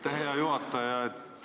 Aitäh, hea juhataja!